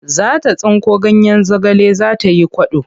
Za ta tsinko ganyen zagale za ta yi kwaɗo.